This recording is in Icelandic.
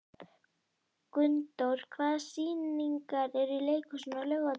Gunndór, hvaða sýningar eru í leikhúsinu á laugardaginn?